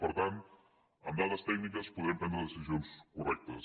per tant amb dades tècniques podrem prendre decisions correctes